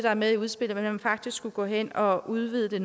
er med i udspillet og at man faktisk skulle gå hen og udvide det